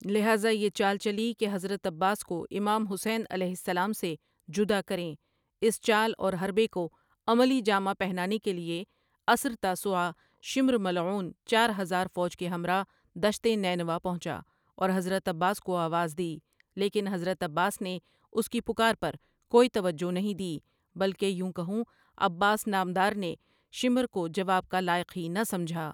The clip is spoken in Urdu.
لہذا یہ چال چلی کہ حضرت عباسؑ کو امام حسین علیه السلام سے جداکریں اس چال اورحربے کوعملی جامه پهنا نے کے لیے عصرتاسوعا شمرملعون چارهزار فوج کے همراه دشت نینوا پهنچا، اورحضرت عباسؑ کو آواز دی لیکن حضرت عباس ؑنے اس کی پکار پر کوٍئی توجہ نہیں دی بلکہ یوں کہوں عباس نامدارؑ نے شمر کو جواب کا لائق ہی نہ سمجھا۔